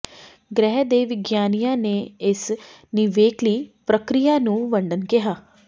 ਗ੍ਰਹਿ ਦੇ ਵਿਗਿਆਨੀਆਂ ਨੇ ਇਸ ਨਿਵੇਕਲੀ ਪ੍ਰਕਿਰਿਆ ਨੂੰ ਵੰਡਣ ਕਿਹਾ